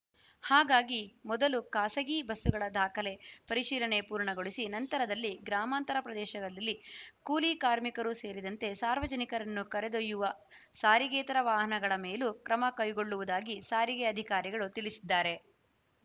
ಹಾಗಾಗಿ ಮೊದಲು ಖಾಸಗಿ ಬಸ್ಸುಗಳ ದಾಖಲೆ ಪರಿಶೀಲನೆ ಪೂರ್ಣಗೊಳಿಸಿ ನಂತರದಲ್ಲಿ ಗ್ರಾಮಾಂತರ ಪ್ರದೇಶದಲ್ಲಿ ಕೂಲಿ ಕಾರ್ಮಿಕರೂ ಸೇರಿದಂತೆ ಸಾರ್ವಜನಿಕರನ್ನು ಕರೆದೊಯ್ಯುವ ಸಾರಿಗೇತರ ವಾಹನಗಳ ಮೇಲೂ ಕ್ರಮ ಕೈಗೊಳ್ಳುವುದಾಗಿ ಸಾರಿಗೆ ಅಧಿಕಾರಿಗಳು ತಿಳಿಸಿದ್ದಾರೆ